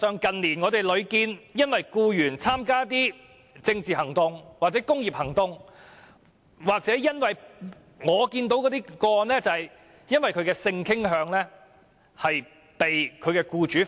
近年屢見僱員因為參加政治行動或工業行動而被解僱；我亦得悉有僱員因為性傾向而被解僱。